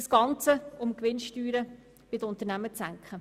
Das Ganze geschieht nur, um die Gewinnsteuern der Unternehmen zu senken.